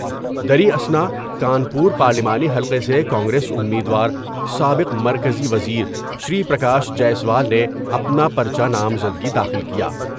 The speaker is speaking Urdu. دریں اثناء کانپور پارلیمانی حلقے سے کانگریس امید وار سابق مرکزی وزیر شری پرکاش جیسوال نے اپنا پر چہ نامزدگی داخل کیا ۔